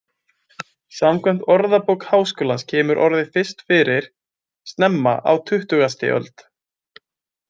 Samkvæmt Orðabók Háskólans kemur orðið fyrst fyrir snemma á tuttugasti öld.